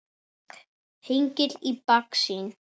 Hengill í baksýn.